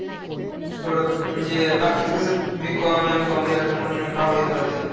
थोडं, म्हणजे अह बाकीचं कसं B com M com केलं तर अं कोण भाव दे ना झालंय.